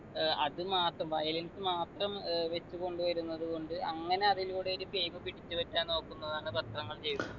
ഏർ അതുമാത്രം violence മാത്രം ഏർ വെച്ചു കൊണ്ടുവരുന്നത് കൊണ്ട് അങ്ങനെ അതിലൂടെ ഒരു fame പിടിച്ചുപറ്റാൻ നോക്കുന്നതാണ് പത്രങ്ങൾ ചെയ്യുന്നത്